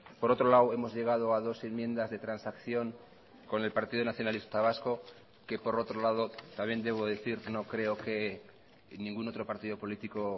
por otro lado hemos llegado a dos enmiendas de transacción con el partido nacionalista vasco que por otro lado también debo decir no creo que ningún otro partido político